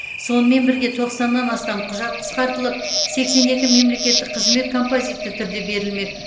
сонымен бірге тоқсаннан астам құжат қысқартылып сексен екі мемлекеттік қызмет композитті түрде берілмек